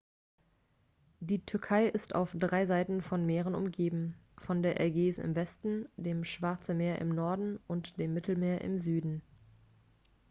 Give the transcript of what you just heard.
die türkei ist auf drei seiten von meeren umgeben von der ägäis im westen dem schwarze meer im norden und dem mittelmeer im süden